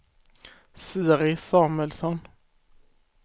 Siri Samuelsson